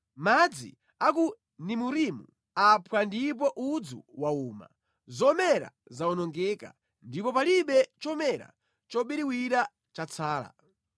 Madzi a ku Nimurimu aphwa ndipo udzu wauma; zomera zawonongeka ndipo palibe chomera chobiriwira chatsala.